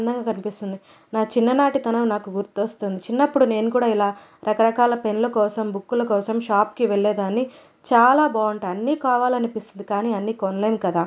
అందంగా కనిపిస్తుంది నా చిన్న నాటి తనం నాకు గుర్తొస్తుంది చిన్నప్పుడు నేను కూడా ఇలా రకరకాల పెన్ ల కోసం బుక్ ల కోసం షాప్ కి వెళ్ళే దాన్ని చాలా బావుంటాయ్ అన్నీ కావాలనిపిస్తుంది కానీ అన్నీ కొనలేం కదా.